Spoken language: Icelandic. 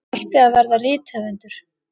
Hann ætti að verða rithöfundur!